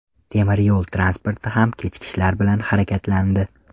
Temir yo‘l transporti ham kechikishlar bilan harakatlandi.